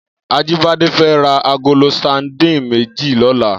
Ajibade fè rà àgóló sàdín méji lòlá